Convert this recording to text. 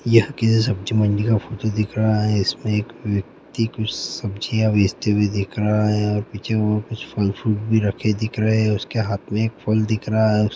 यह किसी सब्जी मंडी का फोटो दिख रहा है इसमें एक व्यक्ति कुछ सब्जियां बेचते हुए दिख रहा है और पीछे वो कुछ फल फ्रूट भी रखे दिख रहे हैं उसके हाथ में एक फल दिख रहा है।